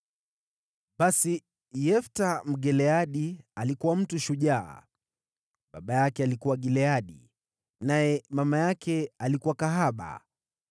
Basi Yefta Mgileadi alikuwa mtu shujaa. Baba yake alikuwa Gileadi, naye mama yake alikuwa kahaba.